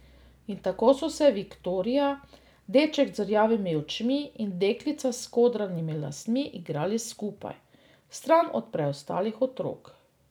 In tako so se Viktorija, deček z rjavimi očmi in deklica s skodranimi lasmi igrali skupaj, stran od preostalih otrok.